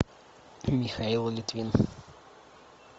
михаил литвин